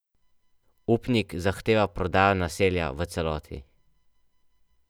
Upnik zahteva prodajo naselja v celoti.